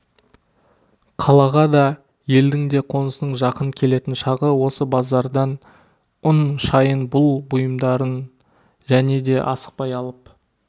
қалаға да елдің қонысының жақын келетін шағы осы базардан ұн шайын бұл-бұйымдарын және де асықпай алып